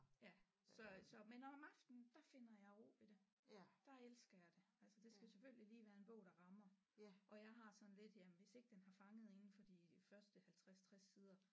Ja så så men om aftenen der finder jeg ro ved det der elsker jeg det altså det skal selvfølgelig lige være en bog der rammer og jeg har sådan lidt jamen hvis ikke den har fanget inden for de første 50 60 sider